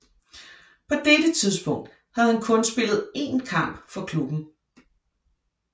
På dette tidspunkt havde han kun spillet én kamp for klubben